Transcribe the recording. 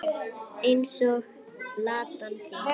Eins og Ladan þín.